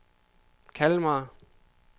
Kalmar